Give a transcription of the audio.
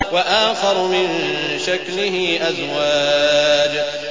وَآخَرُ مِن شَكْلِهِ أَزْوَاجٌ